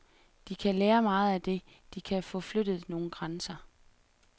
De kan lære meget af det, de kan få flyttet nogle grænser.